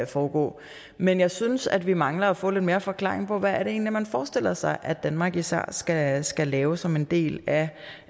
foregå men jeg synes at vi mangler at få lidt mere forklaring på hvad det egentlig er man forestiller sig at danmark især skal skal lave som en del af